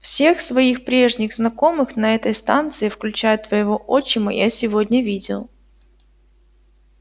всех своих прежних знакомых на этой станции включая твоего отчима я сегодня видел